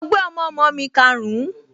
Mo gbé ọmọọmọ mi karùn-ún